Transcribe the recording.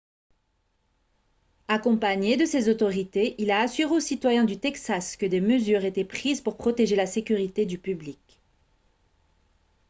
accompagné de ces autorités il a assuré aux citoyens du texas que des mesures étaient prises pour protéger la sécurité du public